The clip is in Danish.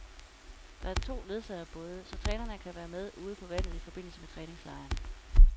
Der er to ledsagerbåde, så trænerne kan være med ude på vandet i forbindelse med træningslejren.